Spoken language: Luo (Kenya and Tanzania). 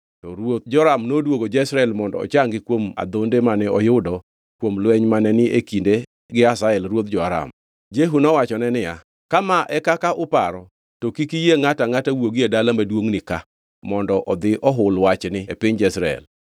to ruoth Joram noduogo Jezreel mondo ochangi kuom adhonde mane oyudo kuom lweny mane ni e kinde gi Hazael ruodh jo-Aram). Jehu mowachone niya, “Ka ma e kaka uparo, to kik iyie ngʼato angʼata wuogi e dala maduongʼ ka mondo odhi ohul wachni e piny Jezreel.”